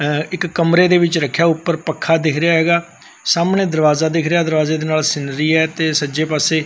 ਇਕ ਕਮਰੇ ਦੇ ਵਿੱਚ ਰੱਖਿਆ ਉੱਪਰ ਪੱਖਾ ਦਿਖ ਰਿਹਾ ਹੈਗਾ ਸਾਹਮਣੇ ਦਰਵਾਜ਼ਾ ਦਿਖ ਰਿਹਾ ਦਰਵਾਜੇ ਦੇ ਨਾਲ ਸੀਨਰੀ ਐ ਤੇ ਸੱਜੇ ਪਾਸੇ--